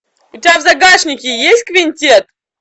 у тебя в загашнике есть квинтет